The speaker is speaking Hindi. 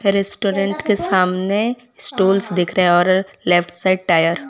रेस्टोरेंट के सामने स्टूल्स दिख रहे और लेफ्ट साइड टायर --